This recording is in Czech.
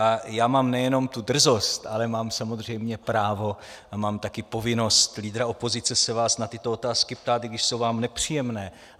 A já mám nejenom tu drzost, ale mám samozřejmě právo a mám také povinnost lídra opozice se vás na tyto otázky ptát, i když jsou vám nepříjemné.